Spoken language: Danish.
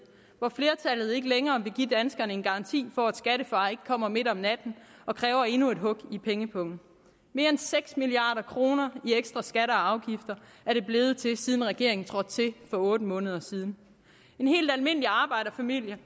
hvor flertallet ikke længere vil give danskerne en garanti for at skattefar ikke kommer midt om natten og kræver endnu et hug i pengepungen mere end seks milliard kroner i ekstra skatter og afgifter er det blevet til siden regeringen trådte til for otte måneder siden en helt almindelig arbejderfamilie